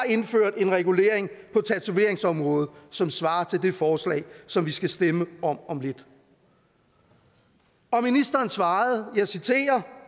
indført en regulering på tatoveringsområdet som svarer til det forslag som vi skal stemme om om lidt og ministeren svarede og jeg citerer